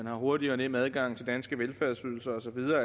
er hurtig og nem adgang til danske velfærdsydelser og så videre